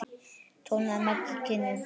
tónaði Maggi kynnir.